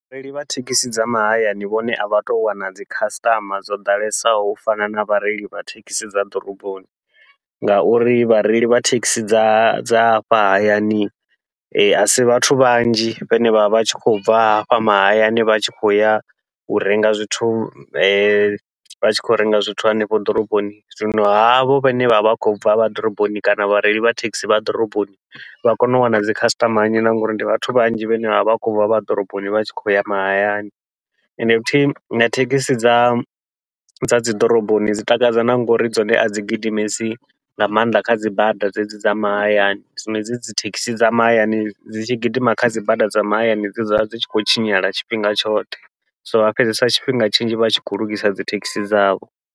Vhareili vha thekhisi dza mahayani vhone a vha tou wana dzi khasiṱama dzo ḓalesaho u fana na vhareili vha thekhisi dza ḓoroboni, ngauri vhareili vha thekhisi dza dza hafha hayani asi vhathu vhanzhi vhane vha vha vha tshi khou bva hafha mahayani vha tshi khou ya u renga zwithu vha tshi khou renga zwithu hanefho ḓoroboni, zwino havho vhane vha vha vha khou bva vha ḓoroboni kana vhareili vha thekhisi vha ḓoroboni vha kone u wana dzikhasiṱama nnzhi na ngauri ndi vhathu vhanzhi vhane vha vha vha khou bva vha ḓoroboni vha tshi khou ya mahayani. Ende futhi na thekhisi dza dza dzi ḓoroboni dzi takadza na ngori dzone adzi gidimesi nga maanḓa kha dzi bada dzedzi dza mahayani, zwino hedzi dzi thekhisi dza mahayani dzi tshi gidima kha dzi bada dza mahayani dze dzavha dzi dzula dzi tshi khou tshinyala tshifhinga tshoṱhe, so vha fhedzesa tshifhinga tshinzhi vha tshi khou lugisa dzithekhisi dzavho.